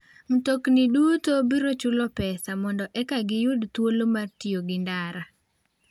Mtokni duto biro chulo pesa mondo eka giyud thuolo mar tiyo gi ndara.